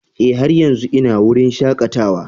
Ee, har yanzu ina wurin shakatawa.